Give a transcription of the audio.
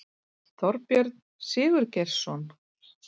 Þorbjörn Sigurgeirsson